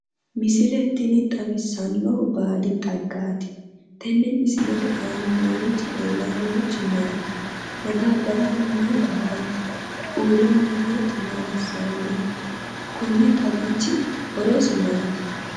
Misisle tini xawissannohu baadi xaggaati tenne misilete aana noorichi leellayi noorichi maati? Madaabbaru aana noohu maati? uurre noo beetti maa assayi no? Konni xagichi horosi maati?